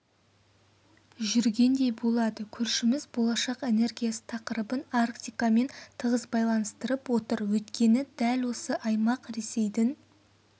жүргендей болады көршіміз болашақ энергиясы тақырыбын арктикамен тығыз байланыстырып отыр өйткені дәл осы аймақ ресейдің